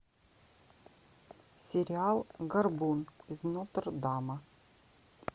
сериал горбун из нотр дама